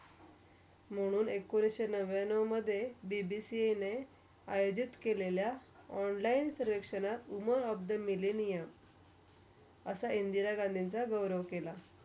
म्हणून एकोणीसशे नव्याण्णवमधे BBC ने आयोजित केलेल्या online सर्वकषणा Women of the millenium असा इंदिरा गांधींचा गौरव केला.